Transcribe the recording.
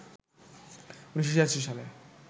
১৯৮৬ সালে